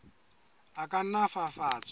a ka nna a fafatswa